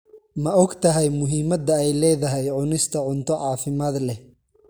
Ma ogtahay muhiimada ay leedahay cunista cunto caafimaad leh?